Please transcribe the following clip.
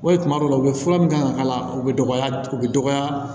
O ye kuma dɔ la u bɛ fura min kan ka k'a la u bɛ dɔgɔya u bɛ dɔgɔya